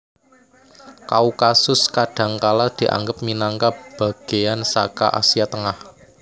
Kaukasus kadhangkala dianggep minangka bagéyan saka Asia Tengah